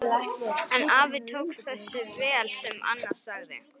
En afi tók þessu vel sem Anna sagði.